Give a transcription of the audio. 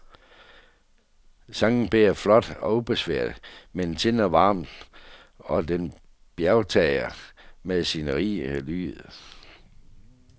Sangen bærer flot og ubesværet, den tindrer varmt, og den bjergtager med sin rige lyd.